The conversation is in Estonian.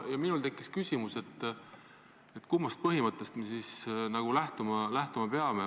Minul tekkis küsimus, kummast põhimõttest me siis lähtuma peame.